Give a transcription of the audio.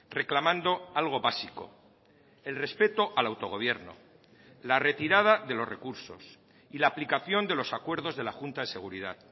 reclamando algo básico el respeto al autogobierno la retirada de los recursos y la aplicación de los acuerdos de la junta de seguridad